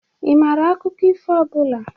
Ị mara akụkọ ifo ọbụla?